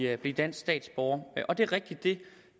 at blive dansk statsborger og det er rigtigt at